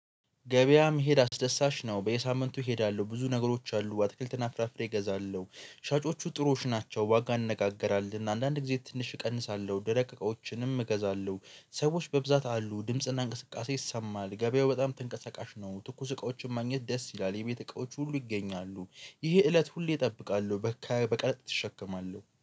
ገበያ መሄድ አስደሳች ነው። በየሳምንቱ እሄዳለሁ ብዙ ነገሮች አሉ አትክልት እና ፍራፍሬ እገዛለሁ። ሻጮቹ ጥሩዎች ናቸው። ዋጋ እንነጋገራለን አንዳንድ ጊዜ ትንሽ እቀንሳለሁ ደረቅ እቃዎችንም እገዛለሁ። ሰዎች በብዛት አሉ ድምጽና እንቅስቃሴ ይሰማል። ገበያው በጣም ተንቀሳቃሽ ነው። ትኩስ እቃዎችን ማግኘት ደስ ይላል። የቤት እቃዎች ሁሉ ይገኛሉ። ይህ እለት ሁሌ እጠብቃለሁ። በካይ በቀ እሸከማለሁ